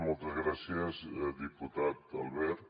moltes gràcies diputat albert